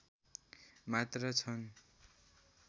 मात्र छन्